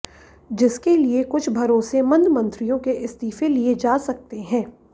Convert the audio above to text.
जिसके लिए कुछ भरोसेमंद मंत्रियों के इस्तीफे लिए जा सकते हैं